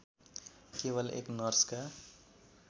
केवल एक नर्सका